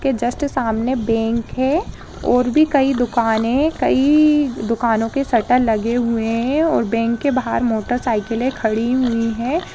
के जस्ट सामने बैंक है और भी कई दुकाने कई दुकानों के शटर लगे हुए है और बैंक के बहार मोटरसाइकिले खड़ी हुई है।